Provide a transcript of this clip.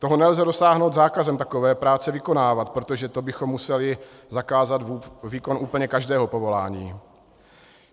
Toho nelze dosáhnout zákazem takové práce vykonávat, protože to bychom museli zakázat výkon úplně každého povolání.